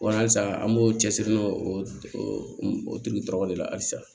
Walasaa an b'o cɛsiri n'o o tigi tɔgɔ de la halisa